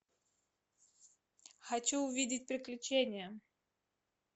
хочу увидеть приключения